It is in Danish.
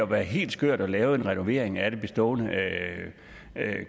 være helt skørt at lave en renovering af det bestående